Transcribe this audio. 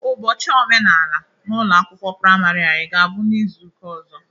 Ụbochị omenala n'ụlọ akwụkwọ prịmarị anyị ga-abụ n'ịzụụka ọzọ.